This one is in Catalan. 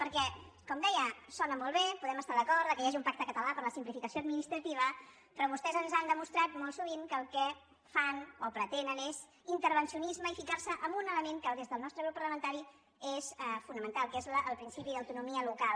perquè com deia sona molt bé podem estar d’acord que hi hagi un pacte català per a la simplificació administrativa però vostès ens han demostrat molt sovint que el que fan o pretenen és intervencionisme i ficar se en un element que des del nostre grup parlamentari és fonamental que és el principi d’autonomia local